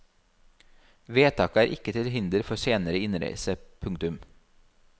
Vedtaket er ikke til hinder for senere innreise. punktum